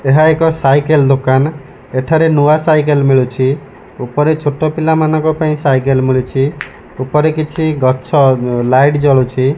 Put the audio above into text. ଏହା ଏକ ସାଇକେଲ୍ ଦୋକାନ୍ ଏଠାରେ ନୂଆ ସାଇକେଲ୍ ମିଳୁଛି। ଉପରେ ଛୋଟ ପିଲାମାନଙ୍କ ପାଇଁ ସାଇକେଲ୍ ମିଳୁଛି। ଉପରେ କିଛି ଗଛ ଲାଇଟ୍ ଜଳୁଛି।